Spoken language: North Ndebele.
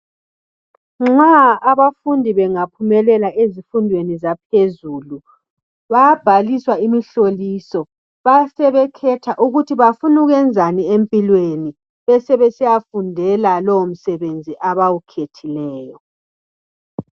Nxa abafundi bengaphumelela ezifundweni zaphezulu bayabhaliswa imihloliso basebekhetha ukuthi bafuna ukwenzani empilweni. Besebesiyafundela lowo msebenzi abawukhethileyo.